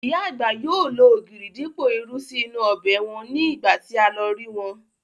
Ìyá àgbà yóò lo ògìrì dípò irú sí inú ọbẹ̀ wọn ní ìgbà tí a lọ rí wọn